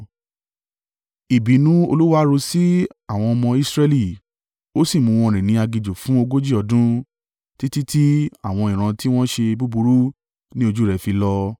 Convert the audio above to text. Ìbínú Olúwa ru sí àwọn ọmọ Israẹli ó sì mú wọn rìn ní aginjù fún ogójì ọdún, títí tí àwọn ìran tí wọ́n ṣe búburú ní ojú rẹ̀ fi lọ.